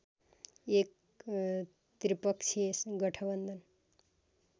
एक त्रिपक्षीय गठबन्धन